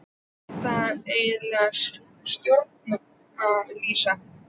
Er þetta eðlileg stjórnsýsla?